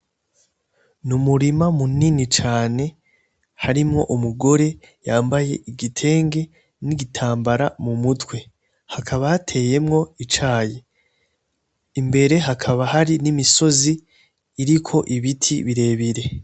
Ni umurima mu nini cane harimwo umugore yambaye igitenge n'igitambara mu mutwe hakaba hateyemwo icayi ,imbere hakaba hari n'imisozi iriko ibiti birebire.